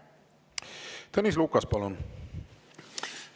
Tõnis Lukas, palun!